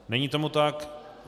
Není tomu tak.